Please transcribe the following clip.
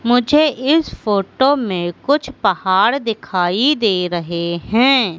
मुझे इस फोटो में कुछ पहाड़ दिखाई दे रहें हैं।